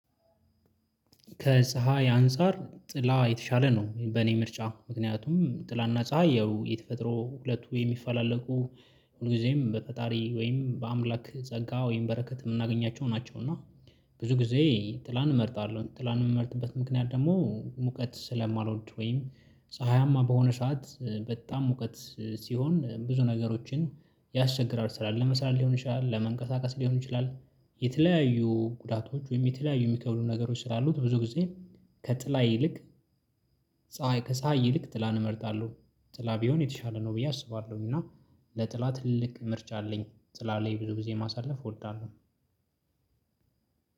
ከፀሀይ አንፃር ጥላ የተሻለ ነው በእኔ ምርጫ ምክንያቱም ጥላና ፀሀይ ያው የተፈጥሮ ሁለቱ የሚፈላለቁ ሁልጊዜም በፈጣሪ ወይም በአምላክ ጸጋ ወይም በረከት ምናገኛቸው ናቸው። እና ብዙ ጊዜ ጥላን እመርጣለሁ ጥላን ምመርጥበት ምክንያት ደግሞ ሙቀት ስለማልወድ ወይም ፀሀያማ በሆነ ሰዓት በጣም ሙቀት ሲሆን ብዙ ነገሮችን ያስቸግራል። ስራ ለመስራት ሊሆን ይችላል። ለመንቀሳቀስ ሊሆን ይችላል የተለያዩ ጉዳቶች ወይም የተለያዩ የሚከብዱ ነገሮች ስላሉት ብዙ ጊዜ ከጥላ ይልቅ ፀሀይ ከፀሀይ ይልቅ ጥላን እመርጣለሁ። ጥላ ቢሆን የተሻለ ነው ብዬ አስባለሁኝ። እና ለጥላ ትልቅ ምርጫ አለኝ ጥላ ላይ ብዙ ጊዜ ማሳለፍ እወልዳለሁ።